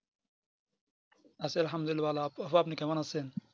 আলহামদুল্লিলা আপু আপনি কেমন আছেন